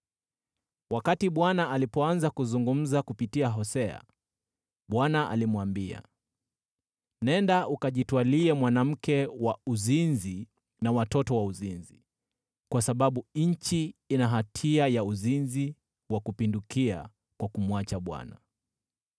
Wakati Bwana alipoanza kuzungumza kupitia Hosea, Bwana alimwambia, “Nenda ukajitwalie mwanamke wa uzinzi na watoto wa uzinzi, kwa sababu nchi ina hatia ya uzinzi wa kupindukia kwa kumwacha Bwana .”